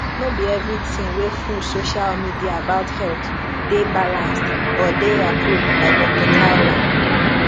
no be everything wey full social media about health dey balanced or dey approved by doctor carla